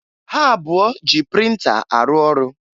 Ha abụọ ji printa arụ ọrụ.